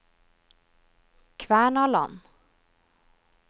Kvernaland